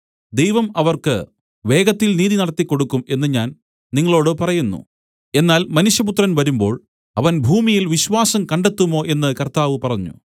ദൈവം അവർക്ക് വേഗത്തിൽ നീതി നടത്തി കൊടുക്കും എന്നു ഞാൻ നിങ്ങളോടു പറയുന്നു എന്നാൽ മനുഷ്യപുത്രൻ വരുമ്പോൾ അവൻ ഭൂമിയിൽ വിശ്വാസം കണ്ടെത്തുമോ എന്നു കർത്താവ് പറഞ്ഞു